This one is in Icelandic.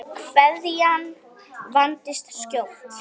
Kveðjan vandist skjótt.